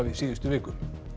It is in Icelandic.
síðustu viku